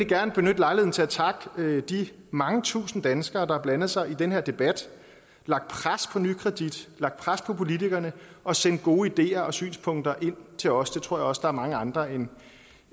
gerne benytte lejligheden til at takke de mange tusinde danskere der har blandet sig i den her debat lagt pres på nykredit lagt pres på politikerne og sendt gode ideer og synspunkter ind til os det tror jeg også der er mange andre end